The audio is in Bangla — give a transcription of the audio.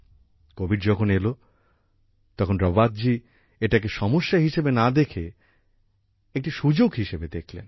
কোভিদ যখন এলো তখন রাওয়াত জি এটাকে সমস্যা হিসেবে না দেখে একটি সুযোগ হিসেবে দেখলেন